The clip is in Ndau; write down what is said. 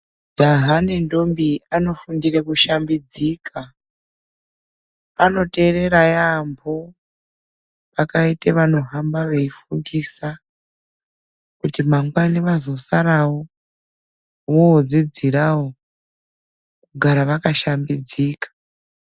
Majaya nendobi anofundire kushambidzika anoteerera yaamho pakaite vanohamba veifundisa, kuti mangwana vazosarawo vodzidzirawo kugara vakashambidzika.